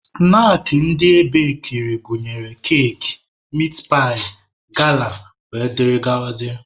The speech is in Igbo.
Snaakị ndị ebekiri gụnyere keki, mitpaị, gala wdg.